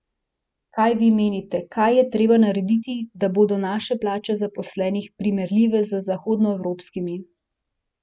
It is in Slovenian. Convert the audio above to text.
Kaj vi menite, kaj je treba narediti, da bodo naše plače zaposlenih primerljive z zahodnoevropskimi?